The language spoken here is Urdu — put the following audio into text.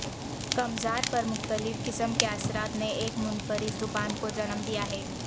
کمزار پر مختلف قسم کے اثرات نے ایک منفرد زبان کو جنم دیا ہے